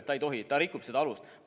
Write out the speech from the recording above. Ta ei tohi, ta rikub seda alust.